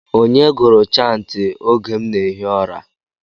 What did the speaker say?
Onye gụrụ chantị oge m na-ehi ụra?